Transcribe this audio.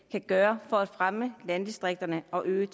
kan gøre for at fremme landdistrikterne og øge